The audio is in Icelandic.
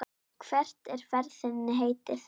Hvert er ferð þinni heitið?